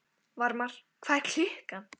Varmar, hvað er klukkan?